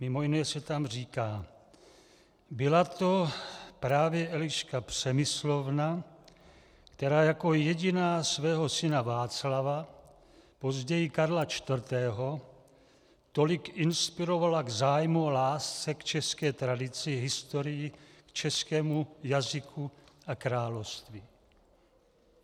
Mimo jiné se tam říká: Byla to právě Eliška Přemyslovna, která jako jediná svého syna Václava, později Karla IV., tolik inspirovala k zájmu a lásce k české tradici, historii, českému jazyku a království."